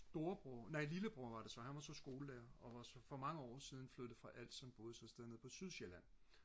storebror nej lillebror var det så han var så skolelærer og var så for mange år siden flyttet fra Als så han boede et sted nede på Sydsjælland